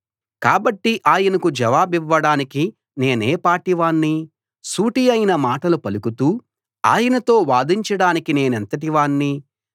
కాబట్టి ఆయనకు జవాబివ్వడానికి నేనేపాటి వాణ్ణి సూటియైన మాటలు పలుకుతూ ఆయనతో వాదించడానికి నేనెంతటి వాణ్ణి